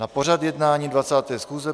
Na pořad jednání 20. schůze